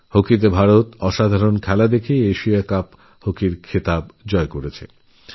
হকিতেভারত অসাধারণ খেলে Asia cup জিতেছে